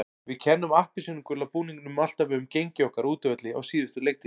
Við kennum appelsínugula búningnum alltaf um gengi okkar á útivelli á síðustu leiktíð.